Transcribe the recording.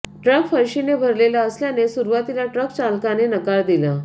truck फरशीने भरलेला असल्याने सुरूवातीला ट्रक चालकाने नकार दिला